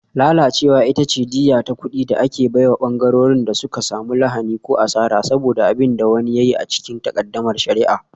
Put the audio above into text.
Lalacewa ita ce diyya ta kuɗi da ake bai wa ɓangarorin da suka samu lahani ko asara saboda abin da wani ya yi a cikin takaddamar shari'a.